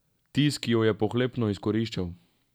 Tisk jo je pohlepno izkoriščal.